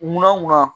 Munna munna